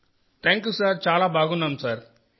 thank you sir చాలా బాగున్నాం sir